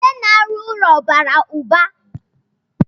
Ndị na-arụ ụlọ bara ụba.